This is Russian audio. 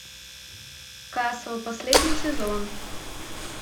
касл последний сезон